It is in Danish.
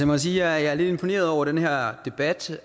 må sige at jeg er lidt imponeret over den her debat